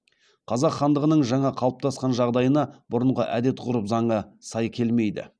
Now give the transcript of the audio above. қазақ хандығының жаңа қалыптасқан жағдайына бұрынғы әдет ғұрып заңы сай келмейді